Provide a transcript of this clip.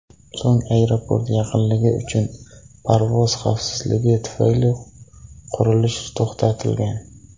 So‘ng aeroport yaqinligi uchun parvoz xavfsizligi tufayli qurilish to‘xtatilgan.